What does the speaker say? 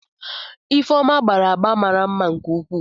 Ifeoma gbara agba mara mma nke ukwuu.